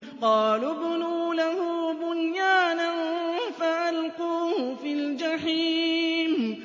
قَالُوا ابْنُوا لَهُ بُنْيَانًا فَأَلْقُوهُ فِي الْجَحِيمِ